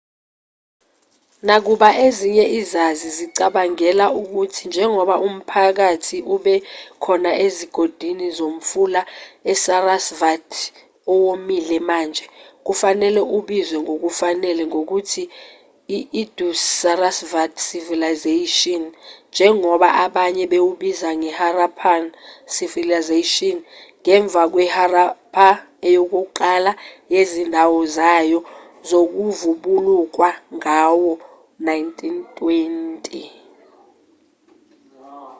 nakuba ezinye izazi zicabangela ukuthi njengoba umphakathi ube khona ezigodini zomfula isarasvati owomile manje kufanele ubizwe ngokufanele ngokuthi i-indus-sarasvati civilization njengoba abanye bewubiza iharappan civilization ngemva kweharappa eyokuqala yezindawo zayo zokuvubukulwa ngawo-1920